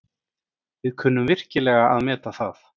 Við kunnum virkilega að meta það.